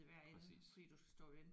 Præcis